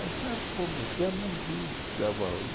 Até pouco tempo que dava arroz.